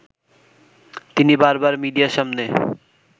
তিনি বারবার মিডিয়ার সামনে